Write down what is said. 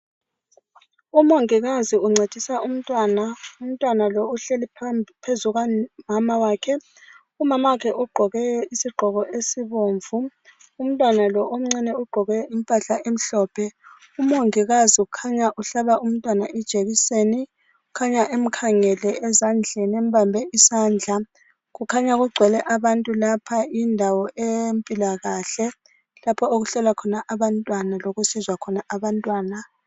Umongikazi uncedisa umntwana. Umntwana lowu uhlezi phezu kukamama wakhe. Umamawakhe ugqoke isigqoko esibomvu, umntwana lowu omncane ugqoke impahla emhlophe. Umongikazi ukhanya uhlaba umnwatana ijekiseni, kukhanya emkhangele ezandleni embambe isandla. Kukhanya kugcwele abantu lapha indawo eyempilakahle lapho okuhlala khona abantwana lokusizwa khona abantwana.